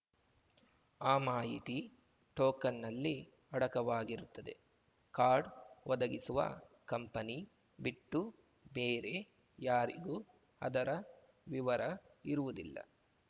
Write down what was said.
ಆ ಮಾಹಿತಿ ಟೋಕನ್‌ನಲ್ಲಿ ಅಡಕವಾಗಿರುತ್ತದೆ ಕಾರ್ಡ್‌ ಒದಗಿಸುವ ಕಂಪನಿ ಬಿಟ್ಟು ಬೇರೆ ಯಾರಿಗೂ ಅದರ ವಿವರ ಇರುವುದಿಲ್ಲ